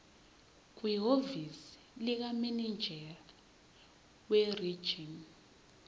kwihhovisi likamininjela werijini